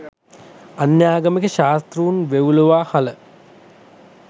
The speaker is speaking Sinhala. අන්‍යාගමික ශාස්තෘන් වෙව්ලුවා හළ